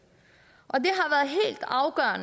har